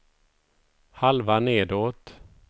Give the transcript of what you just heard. halva nedåt